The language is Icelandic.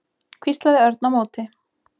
hvíslaði Örn á móti.